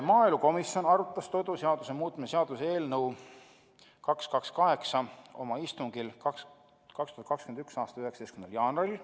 Maaelukomisjon arutas toiduseaduse muutmise seaduse eelnõu 228 oma istungil 2021. aasta 19. jaanuaril.